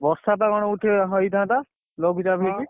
ବର୍ଷାତ କଣ ଉଠେଇବ ହେଇଥାନ୍ତା? ଲଘୁଚାପ ହଁ ହେଇଛି।